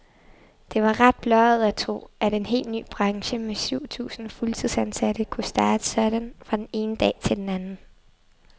Det var ret blåøjet at tro, at en hel ny branche med syv tusind fuldtidsansatte kunne starte sådan fra den ene dag til den anden.